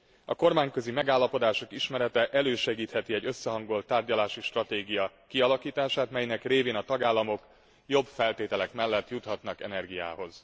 A kormányközi megállapodások ismerete elősegítheti egy összehangolt tárgyalási stratégia kialakítását, melynek révén a tagállamok jobb feltételek mellett juthatnak energiához.